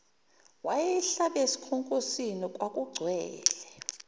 wayeyihlabe esikhonkosini kwakugcwele